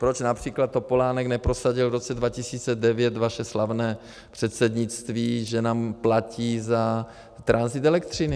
Proč například Topolánek neprosadil v roce 2009 vaše slavné předsednictví, že nám platí za tranzit elektřiny.